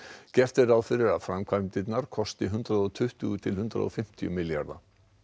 gert er ráð fyrir að framkvæmdirnar kosti hundrað og tuttugu til hundrað og fimmtíu milljarða